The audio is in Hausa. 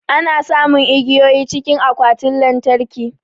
Ana samun igiyoyi cikin akwatin lantarki